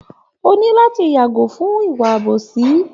O ní láti yàgò fún ìwà àbòsí